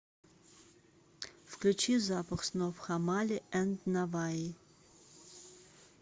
включи запах снов хамали энд наваи